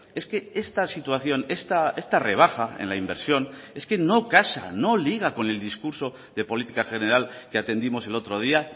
es que esta situación esta rebaja en la inversión es que no casa no liga con el discurso de política general que atendimos el otro día